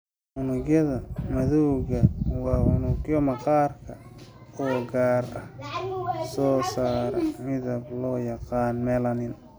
Unugyada madowga waa unugyo maqaarka oo gaar ah oo soo saara midab loo yaqaan melanin.